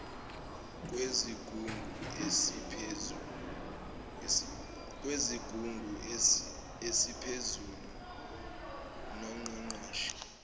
kwesigungu esiphezulu songqongqoshe